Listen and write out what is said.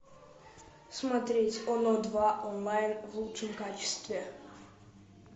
смотреть оно два онлайн в лучшем качестве